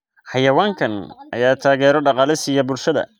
Xayawaankan ayaa taageero dhaqaale siiya bulshada.